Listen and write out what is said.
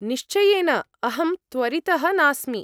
निश्चयेन, अहं त्वरितः नास्मि।